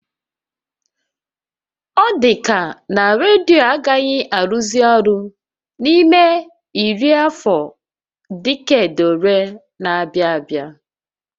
Ọ dịka na redio agaghị arụzị ọrụ n'ime iri afọ diked ole na-abịa abịa